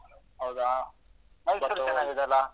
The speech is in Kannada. ಹೌದಾ ಮೈಸೂರ್ ಚೆನ್ನಾಗಿದ್ಯಲ್ಲ.